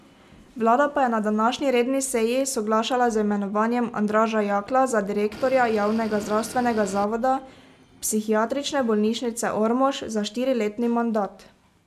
Vlada pa je na današnji redni seji soglašala z imenovanjem Andraža Jaklja za direktorja javnega zdravstvenega zavoda Psihiatrične bolnišnice Ormož za štiriletni mandat.